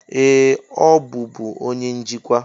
Ee! Ọ bụbu onye njikwa.